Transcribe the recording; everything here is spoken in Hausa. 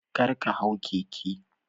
Karka hau keke.